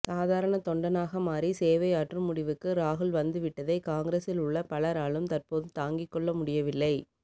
சாதாரண தொண்டனாக மாறி சேவை ஆற்றும் முடிவுக்கு ராகுல் வந்துவிட்டதை காங்கிரசில் உள்ள பலராலும் தற்போது தாங்கி கொள்ள முடியவில்லை